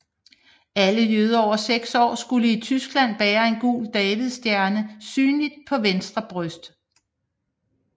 Alle jøder over seks år skulle i Tyskland bære en gul davidsstjerne synligt på venstre bryst